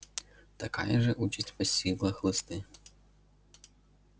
такая же участь постигла хлысты